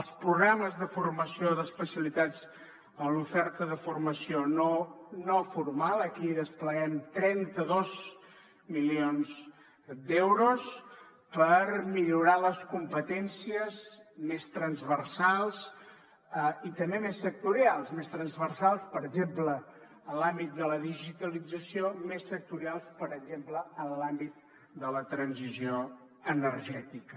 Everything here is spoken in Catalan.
els programes de formació d’especialitats en l’oferta de formació no formal aquí hi despleguem trenta dos milions d’euros per millorar les competències més transversals i també més sectorials més transversals per exemple en l’àmbit de la digitalització més sectorials per exemple en l’àmbit de la transició energètica